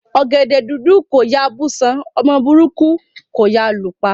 Ọgẹdẹ dúdú kò yáa bù ṣán; ọmọ burúkú kò yáa lù pa.